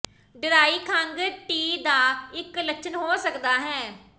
dry ਖੰਘ TB ਦਾ ਇੱਕ ਲੱਛਣ ਹੋ ਸਕਦਾ ਹੈ